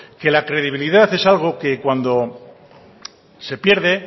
que la credibilidad es algo que cuando se pierde